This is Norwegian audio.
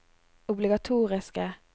obligatoriske